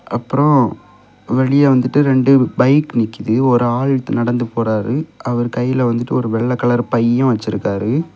அப்புறம் வெளியே வந்துட்டு இரண்டு பைக்கு நிக்குது ஒரு ஆள் நடந்து போறாரு அவர் கையில வந்துட்டு ஒரு வெள்ள கலர் பையும் வச்சிருக்காரு.